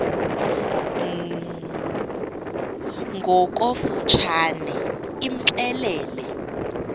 ngokofu tshane imxelele